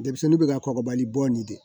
Denmisɛnnin bɛ ka kɔgɔbali bɔ nin de